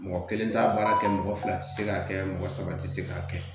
Mɔgɔ kelen t'a baara kɛ mɔgɔ fila tɛ se k'a kɛ mɔgɔ saba tɛ se k'a kɛ